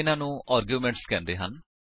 ਇਨ੍ਹਾਂ ਨੂੰ ਆਰਗਿਉਮੇਂਟਸ ਕਹਿੰਦੇ ਹਨ